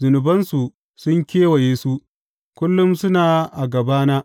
Zunubansu sun kewaye su; kullum suna a gabana.